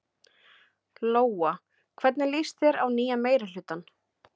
Lóa: Hvernig líst þér á nýja meirihlutann?